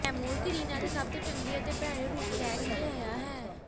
ਤੈਮੂਰ ਕਰੀਨਾ ਦੇ ਸਭ ਤੋਂ ਚੰਗੇ ਅਤੇ ਭੈੜੇ ਰੂਪ ਲੈ ਕੇ ਆਇਆ ਹੈ